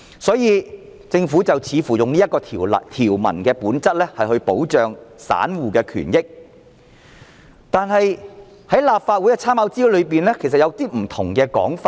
故此，政府似乎希望利用條文本質保障散戶權益，但立法會參考資料摘要中出現了一些不同的說法。